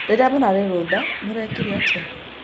Rĩrĩa mũrarĩ rũtha mũrekire atĩa